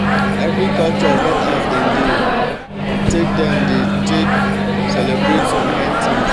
every culture get as dem dey take dem dey take celebrate some kind things.